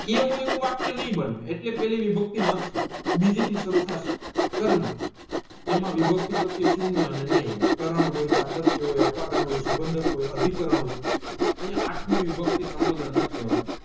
એવું એવું વાક્ય નહીં બને એટલે વિભક્તિ નથી બીજી સારું થશે કર્મ એમાં વિભક્તિ પ્રત્યે સુન્ય અને હોય કારણ હોય હોય હોય સબન્ડક હોય અતિકારણ હોય અહીંયા આત્મિ વિભક્તિ સંબોધન નથ લેવાતું